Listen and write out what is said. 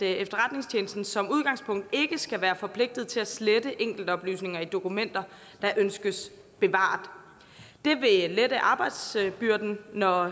efterretningstjenesten som udgangspunkt ikke skal være forpligtet til at slette enkeltoplysninger i dokumenter der ønskes bevaret det vil lette arbejdsbyrden når